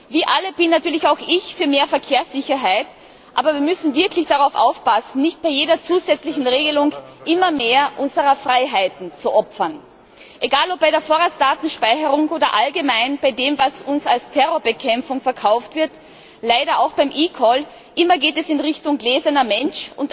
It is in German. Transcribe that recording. Wie alle bin natürlich auch ich für mehr Verkehrssicherheit, aber wir müssen wirklich darauf aufpassen, nicht bei jeder zusätzlichen Regelung immer mehr unserer Freiheiten zu opfern. Egal ob bei der Vorratsdatenspeicherung oder allgemein bei dem, was uns als Terrorbekämpfung verkauft wird, leider auch beim eCall Immer geht es in Richtung gläserner Mensch.